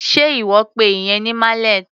Sé ìwọ pe ìyẹn ní mallet?